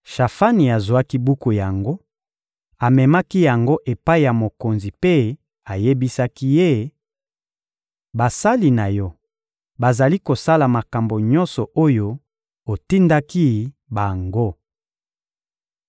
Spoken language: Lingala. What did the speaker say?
Shafani azwaki buku yango, amemaki yango epai ya mokonzi mpe ayebisaki ye: — Basali na yo bazali kosala makambo nyonso oyo otindaki bango.